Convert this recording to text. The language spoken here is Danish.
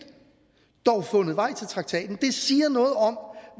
dog har fundet vej til traktaten det siger noget om